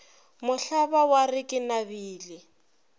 mohlaba wa re ke nabile